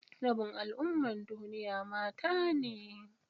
Rabin al'ummar duniya mata ne.